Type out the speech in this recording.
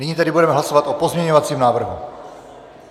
Nyní tedy budeme hlasovat o pozměňovacím návrhu.